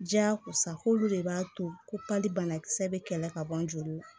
Diyakosa k'olu de b'a to ko pali banakisɛ bɛ kɛlɛ ka bɔ joli la